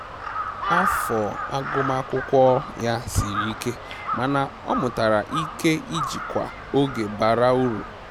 Afọ agụmakwụkwọ ya siri ike mana ọ mụtara ike ijikwa oge bara uru